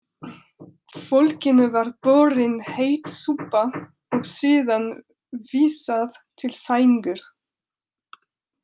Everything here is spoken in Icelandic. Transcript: Fólkinu var borin heit súpa og síðan vísað til sængur.